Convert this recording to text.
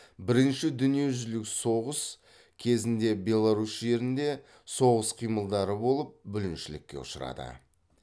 бірінші дүниежүзілік соғыс кезінде беларусь жерінде соғыс қимылдары болып бүліншілікке ұшырады